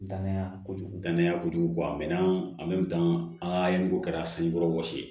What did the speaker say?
Danaya kojugu danaya kojugu bɔ a mɛn na a mɛ tan a ye ko kɛra sankɔrɔ wɔsi ye